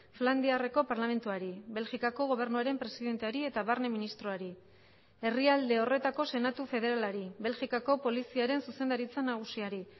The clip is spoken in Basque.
flandiarreko parlamentuari belgikako gobernuaren presidenteari eta barne ministroari herrialde horretako senatu federalari belgikako poliziaren zuzendaritza nagusiari